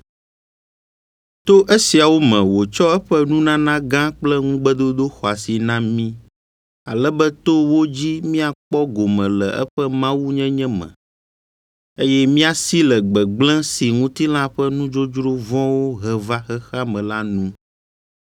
To esiawo me wòtsɔ eƒe nunana gã kple ŋugbedodo xɔasi na mí, ale be to wo dzi míakpɔ gome le eƒe mawunyenye me, eye míasi le gbegblẽ si ŋutilã ƒe nudzodzro vɔ̃wo he va xexea me la nu.